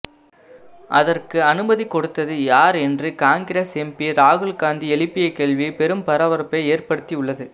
அதற்கு அனுமதி கொடுத்தது யார் என்று காங்கிரஸ் எம்பி ராகுல்காந்தி எழுப்பிய கேள்வி பெரும் பரபரப்பை ஏற்படுத்தி உள்ளது